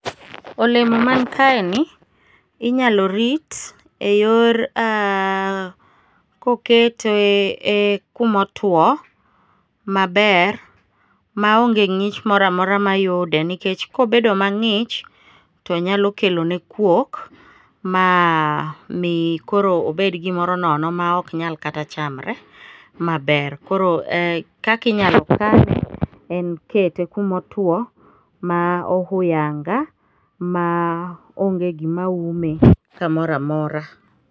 olemo man kaeni inyalo rit e yor kokete e kumotuwo, maber maonge ng'ich mora mora mayude nikech kobedo mang'ich tonyalo kelone kwok ma mi koro obed gimoro nono ma ok nyal kata chamre maber, koro kaka inyalo chame en kete kumotuwo ma ohuyanga ma onge gima ume kamora mora.